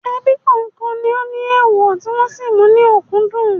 Ebí kọ̀ọ̀kan ní ó ní èèwọ̀ tí wọn sì mú ní òkúńdùn